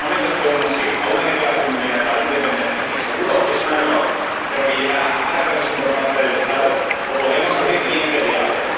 En estos momentos, podemos ir a una declaración unilateral de independencia —que seguro es un error, pero que llevará a más represión por parte del Estado— o podemos abrir vías de diálogo.